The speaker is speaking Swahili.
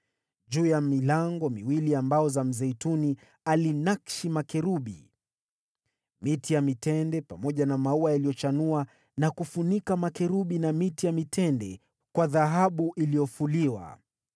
Juu ya milango miwili ya mbao za mzeituni alinakshi makerubi, miti ya mitende pamoja na maua yaliyochanua na kufunika makerubi na miti ya mitende kwa dhahabu iliyofuliwa.